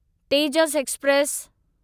Tejas express